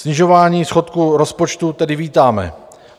Snižování schodku rozpočtu tedy vítáme.